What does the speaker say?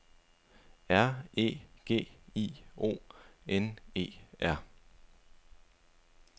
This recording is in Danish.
R E G I O N E R